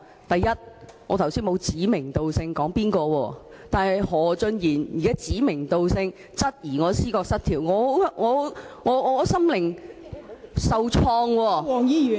第一，我剛才沒有指名道姓，但何俊賢議員現在卻指名道姓質疑我思覺失調，令我心靈受創。